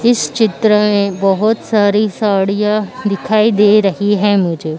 इस चित्र में बहोत सारी साड़ियां दिखाई दे रही हैं मुझे।